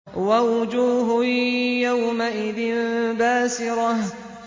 وَوُجُوهٌ يَوْمَئِذٍ بَاسِرَةٌ